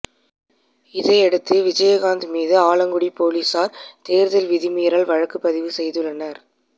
இதையடுத்து விஜயகாந்த் மீது ஆலங்குடி போலீசார் தேர்தல் விதிமீறல் வழக்குப் பதிவு செய்துள்ளனர்